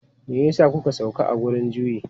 Me ya sa kuka sauka a wurin juyi?